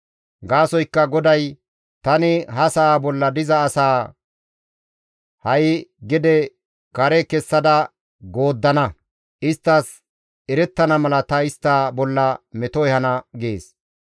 Gaasoykka GODAY, «Tani ha sa7a bolla diza asaa ha7i gede kare kessada gooddana. Isttas erettana mala ta istta bolla meto ehana» gees.